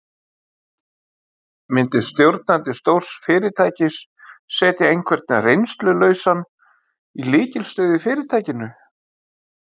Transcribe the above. Myndi stjórnandi stórs fyrirtækis setja einhvern reynslulausan í lykilstöðu í fyrirtækinu?